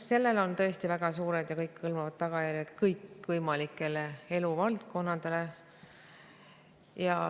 Sellel on tõesti väga suured ja kõikehõlmavad tagajärjed kõikvõimalikele eluvaldkondadele.